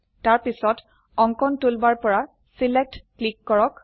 তাৰপিছত অঙ্কন টুলবাৰ পৰা ছিলেক্ট সিলেক্ট ক্লিক কৰক